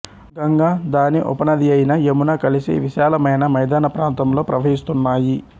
గంగ దాని ఉపనదియైన యమున కలిసి విశాలమైన మైదానప్రాంతంలో ప్రవహిస్తున్నాయి